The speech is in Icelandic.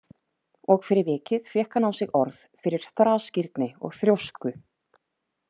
Og fyrir vikið fékk hann á sig orð fyrir þrasgirni og þrjósku.